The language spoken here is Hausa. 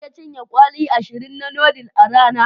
Zan iya cin kwali ashirin na noodle a rana.